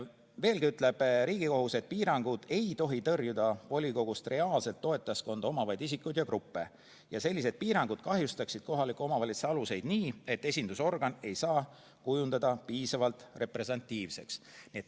Riigikohus ütleb veel, et piirangud ei tohi tõrjuda volikogust reaalset toetajaskonda omavaid isikuid ega gruppe ja sellised piirangud kahjustaksid kohalike omavalitsuste aluseid nii, et esindusorgan ei saa kujuneda piisavalt representatiivseks.